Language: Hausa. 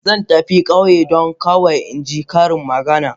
Zan tafi ƙauye don kawai in ji ƙarin maganar sa.